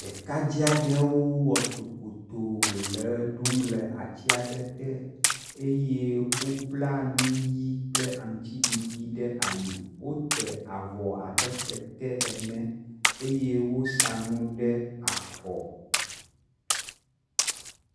Ɖekadzɛ aɖewo wɔ tokpotoo le ʋe ɖum le atsia ɖe te eye wobla nu ʋi kple aŋtsi ɖiɖi ɖe ali, wote avɔ abe kete ene eye wosa nu ɖe afɔ.